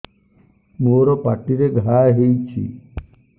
ମୋର ପାଟିରେ ଘା ହେଇଚି